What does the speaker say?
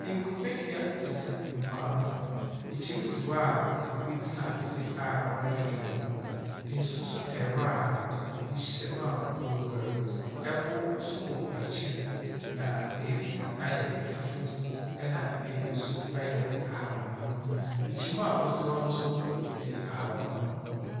Nkubedua sisi mpoano. Kyim si hɔ a obi tena ase redwodwo ne ho. Nsu nso tae hɔ a obi hyɛ mu a ɔreguar. Ɛpo nso wɔ akyir. Nabeebi ayɛ fufuw, na baabi ayɛ ahabanmon. Kyim a osi hɔ no nso yɛ ahabanmon.